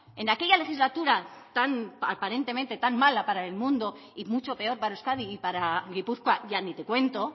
en aquella legislatura tan aparentemente tan mala para el mundo y mucho peor para euskadi y para gipuzkoa ya ni te cuento